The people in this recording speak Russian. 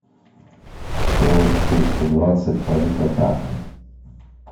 то четыреста двадцать палитота